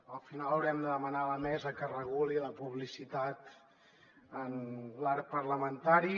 al final haurem de demanar a la mesa que reguli la publicitat en l’arc parlamentari